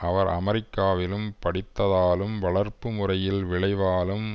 அவர் அமெரிக்காவில் படித்ததாலும் வளர்ப்பு முறையின் விளைவாலும்